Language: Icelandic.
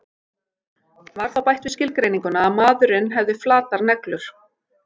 Var þá bætt við skilgreininguna að maðurinn hefði flatar neglur.